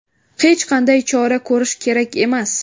Hech qanday chora ko‘rish kerak emas”.